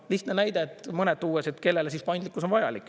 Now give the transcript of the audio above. Lihtne näide, mõned tuues, kellele paindlikkus on vajalik.